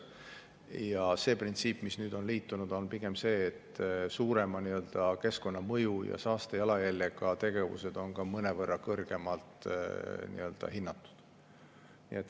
Ja see printsiip, mis nüüd on liitunud, on pigem see, et suurema keskkonnamõju ja saastejalajäljega tegevused on mõnevõrra kõrgemalt hinnatud.